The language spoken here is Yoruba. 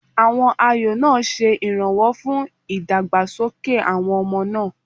Àwọn ayò náà ṣe ìrànwọ́ fún ìdàgbàsókè àwọn ọmọ náà.